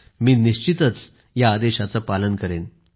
मी निश्चितच आपल्या आदेशाचे पालन करेन